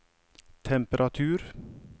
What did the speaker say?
temperatur